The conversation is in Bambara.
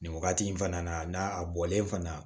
Nin wagati in fana na n'a a bɔlen fana